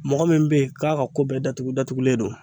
Mɔgɔ min bɛ yen k'a ka ko bɛɛ datugu datugulen don